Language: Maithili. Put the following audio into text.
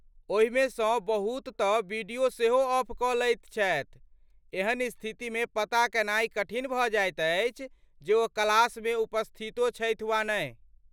ओहिमे सँ बहुत तँ वीडियो सेहो ऑफ कऽ लैत छथि, एहन स्थितिमे पता कयनाय कठिन भऽ जाइत अछि जे ओ क्लासमे उपस्थितो छथि वा नहि।